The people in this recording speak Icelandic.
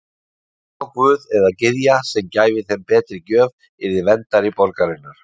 Sá guð eða gyðja sem gæfi þeim betri gjöf yrði verndari borgarinnar.